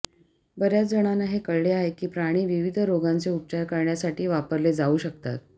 बर्याच जणांना हे कळले आहे की प्राणी विविध रोगांचे उपचार करण्यासाठी वापरले जाऊ शकतात